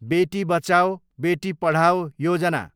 बेटी बचाओ, बेटी पढाओ योजना